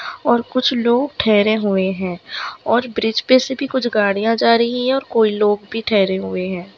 और कुछ लोग ठहरे हुए है और ब्रिज पे से भी कुछ गाड़ियां जा रही है और कोई लोग भी ठहरे हुए है।